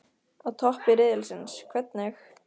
Á toppi riðilsins- hvernig?